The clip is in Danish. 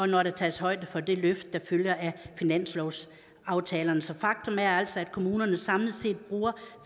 når der tages højde for det løft der følger af finanslovsaftalerne så faktum er altså at kommunerne samlet set bruger